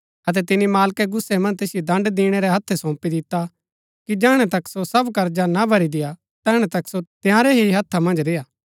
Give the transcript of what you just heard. अतै तिनी मालकै गुस्सै मन्ज तैसिओ दण्ड़ दिणैबाळै रै हत्थै सौंपी दिता कि जैहणै तक सो सब कर्जा ना भरी देय्आ तैहणै तक सो तंयारै ही हत्था मन्ज रेय्आ